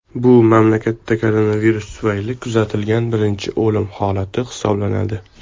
Bu mamlakatda koronavirus tufayli kuzatilgan birinchi o‘lim holati hisoblanadi.